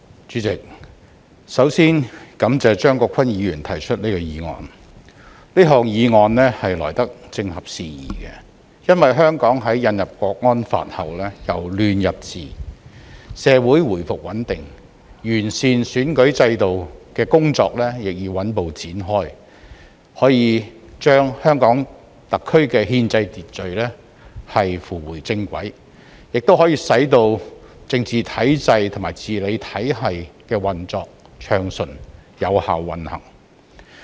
主席，首先感謝張國鈞議員提出這項議案。這項議案來得正合時宜，因為香港在引入《香港國安法》後由亂入治，社會回復穩定，完善選舉制度的工作亦已穩步展開，可把香港特區的憲制秩序扶回正軌，使政治體制和治理體系運作順暢、有效運行。